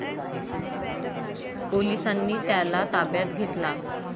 पोलिसांनी त्याला ताब्यात घेतला.